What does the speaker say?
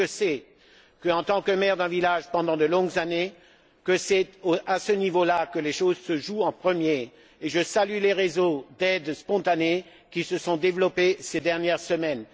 Je sais, pour avoir été maire d'un village pendant de longues années, que c'est à ce niveau là que les choses se jouent en premier et je salue les réseaux d'aide spontanée qui se sont développés ces dernières semaines.